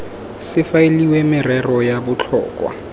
se faeliwe merero ya botlhokwa